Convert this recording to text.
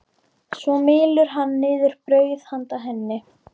Svo mylur hann niður brauð handa henni.